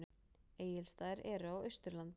Egilsstaðir eru á Austurlandi.